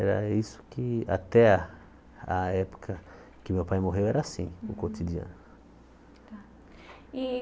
Era isso que, até a época que meu pai morreu, era assim, o cotidiano. Tá e